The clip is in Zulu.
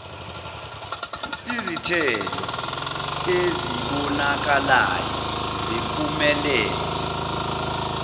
izithelo ezibonakalayo zempumelelo